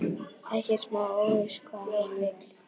Ekkert smá óviss hvað hann vill.